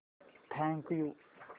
thank you